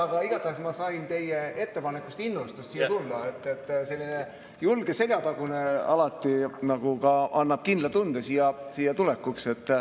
Aga igatahes sain ma teie ettepanekust innustust siia tulla, selline julge seljatagune annab alati kindla tunde siia tulekuks.